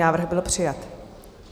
Návrh byl přijat.